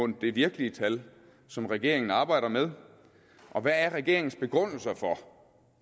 det virkelige tal som regeringen arbejder med og hvad er regeringens begrundelse for